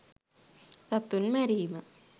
සතුන් මැරීම